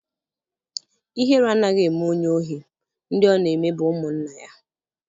Ihere anaghị eme onye ohi; ndị ọ na-eme bụ ụmụnna ya